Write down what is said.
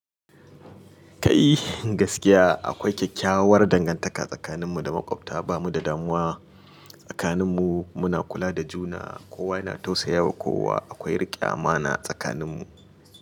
Kai gaskiya akwai kyakkyawar dangantaka tsakaninmu da maƙwabta, ba mu da damuwa tsakaninmu. Muna kula da juna, kowa yana tausaya wa kowa. Akwai riƙe amana tsakaninmu.